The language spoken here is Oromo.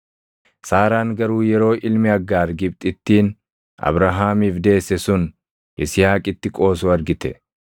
Saaraan garuu yeroo ilmi Aggaar Gibxittiin Abrahaamiif deesse sun Yisihaaqitti qoosu argite;